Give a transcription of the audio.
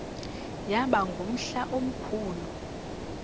yaba ngumhla omkhulu